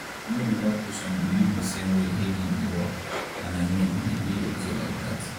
no be all patients believe the same way healing dey work and i mean e dey okay like that.